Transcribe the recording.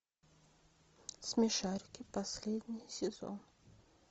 смешарики последний сезон